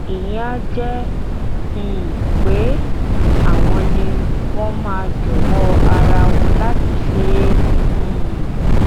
ìyẹn áà jẹ um pé àwọn ni wọn máa jọwọ ara wọn láti ṣe é um